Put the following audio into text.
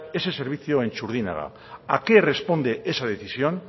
ese servicio en txurdinaga a qué responde es decisión